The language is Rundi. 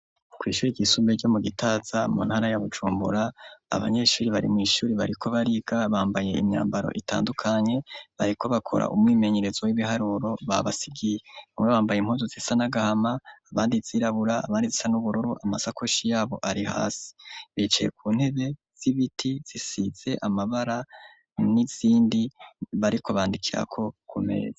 Kw' ishure ryisumbuye ryo mu Gitaza mu ntara ya Bujumbura, abanyeshuri bari mw' ishuri bariko bariga bambaye imyambaro itandukanye, bariko bakora umwimenyerezo w'ibiharuro babasigiye, bamwe bambaye impuzu zisa n'agahama aband'izirabura abandi zisa n'ubururu amasakoshi yabo ari hasi, bicaye ku ntebe z'ibiti zisize amabara n'izindi bariko bandikirako kumeza.